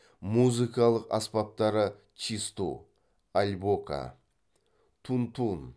музыкалық аспаптары чисту альбока тун тун